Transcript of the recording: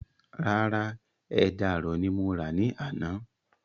Rárá, ẹja àrọ̀ ni mo rà ní àná